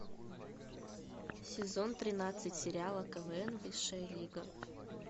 сезон тринадцать сериала квн высшая лига